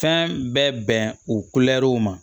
Fɛn bɛɛ bɛn o kulɛriw ma